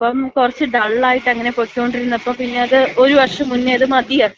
പക്ഷേ ഇപ്പം കുറച്ച് ഡൾ ആയിട്ടങ്ങന പൊയ്ക്കൊണ്ടിരുന്നപ്പോ പിന്നെ അത് ഒരു വർഷം മുന്നേ അത് മതിയാക്കി.